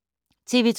TV 2